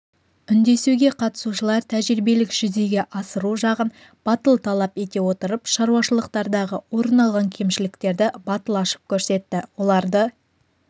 үндесуге қатысушылар тәжірибелік жүзеге асыру жағын батыл талап ете отырып шаруашылықтардағы орын алған кемшіліктерді батыл ашып көрсетті оларды